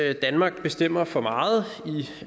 at danmark bestemmer for meget